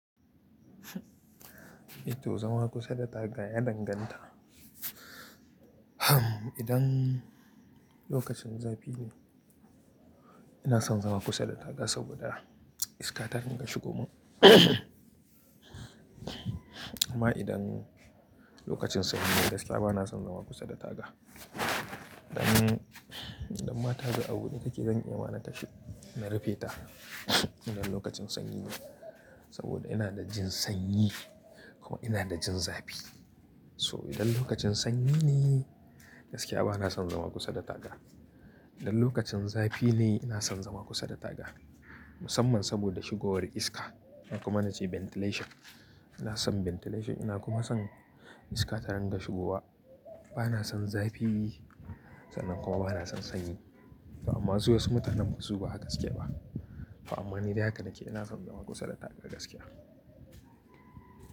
To zama kusa da taga ya danganta. Idan lokacin zafi ne, ina son zama kusa da taga saboda iska ta dinga shigowa. Amma idan lokacin sanyi ne gaskiya ba na son zama kusa da taga. Idan, idan ma tagan abude take zan iya ma na tashi na rufe ta. Idan lokacin sanyi ne saboda ina da jin sanyi kuma ina da jin zafi. So idan lokacin sanyi ne gaskiya ba na son zama kusa da taga. Idan lokacin zafi ne ina son zama kusa da taga, musamman saboda shigowar iska ko kuma na ce ventilation. Ina son ventilation ina kuma son iska ta dinga shigowa. Ba na son zafi sannan kuma ba na son sanyi fa amma su wasu mutanen suba haka suke ba. Fa amma ni dai haka nake ina son zama kusa da taga gaskiya.